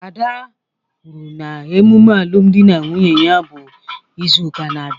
Ada kwuru na emume alụmdi na nwunye ya bụ izu ụka na-abịa